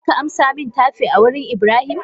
Zaka amsa min tafe a wurin Ibrahim?